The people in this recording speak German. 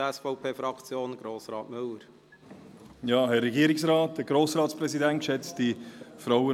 Das Wort hat für die SVP-Fraktion Grossrat Müller.